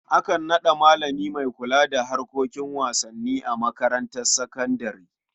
Akan naɗa malami don kula da harkar wasanni a makarantar sakandare.